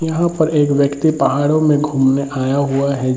यहां पर एक व्यक्ति पहाड़ों में घूमने आया हुआ है।